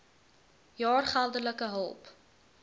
jaar geldelike hulp